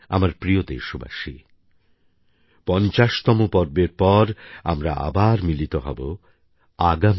আমার প্রিয় দেশবাসী ৫০তম পর্বের পর আমরা আবার মিলিত হব আগামী